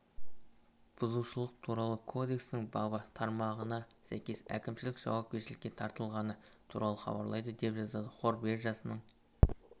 бұзушылық туралы кодексінің бабы тармағына сәйкес әкімшілік жауапкершілікке тартылғаны туралы хабарлайды деп жазады қор биржасының